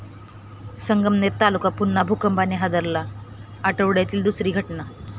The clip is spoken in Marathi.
संगमनेर तालुका पुन्हा भूकंपाने हादरला, आठवड्यातली दुसरी घटना